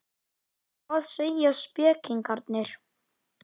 Hvað segja spekingarnir?